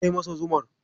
Kai masa zumar.